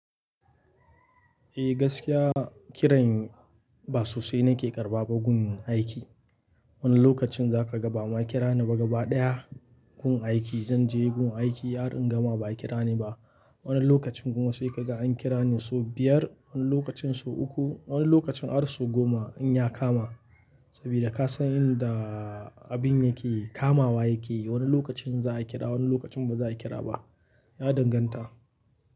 Eh gaskiya kiran ba sosai nake karɓawa gun aiki. Wani lokacin za ka ga ba ma a kira ni ba gaba ɗaya gun aiki zan je gun aiki har in gama ba a kira ni ba. Wani lokacin kuma sai ka ga an kira ni so biyar, wani lokacin so uku, wani lokacin har so goma in ya kama. Sabida ka san inda abin yake kamawa yake. Wani lokacin za a kira, wani lokacin ba za a kira ba. Ya danganta.